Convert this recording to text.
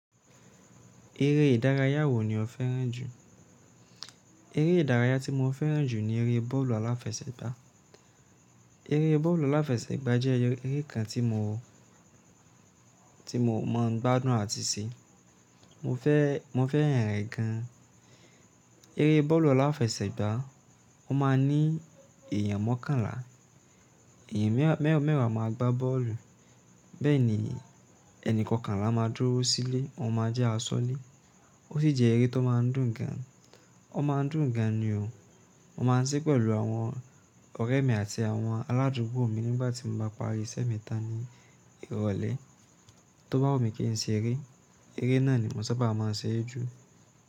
Eré ìdárayá wo ni o fẹ́ràn jù? Eré ìdárayá tí mo fẹ́ràn jù ni eré bọ́ọ̀lù aláfẹsẹ̀gbá. Eré bọ́ọ̀lù aláfẹsẹ̀gbá jẹ́ eré kan tí mo, tí mo mọ̀ọ́ gbádùn àti se. Mo fẹ́, mo fẹ́ràn rẹ̀ gan. Eré bọ́ọ̀lù aláfẹsẹ̀gbá, ó ma n ní èèyàn mọ́kànlá. Èèyàn mẹ́wàá máa gba bọ́ọ̀lù. Bẹ́ẹ̀ ni, ẹni kọkànlá máa dúró sílé, ó máa jẹ́ asọ́lẹ. Ó sì jẹ́ eré tó máa ń dùn gan. Ó máa ń dùn gan ni o. Mo máa ń se pẹ̀lú àwọn ọ̀rẹ́ mi àti àwọn aládùúgbò mi nígbà tí mo bá parí iṣẹ́ mi tán ní ìrọ̀lẹ́. Tóbá wu mí kí n ṣe eré, eré náà ni mo saba mọ se é jù.